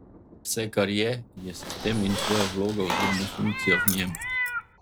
Vse, kar je, je sistem in tvoja vloga oziroma funkcija v njem.